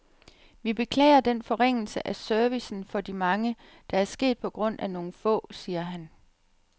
Vi beklager den forringelse af servicen for de mange, der er sket på grund af nogle få, siger han.